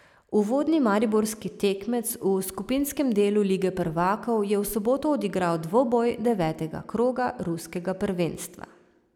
Uvodni mariborski tekmec v skupinskem delu lige prvakov je v soboto odigral dvoboj devetega kroga ruskega prvenstva.